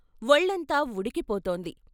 వొళ్ళంతా ఉడికి పోతోంది.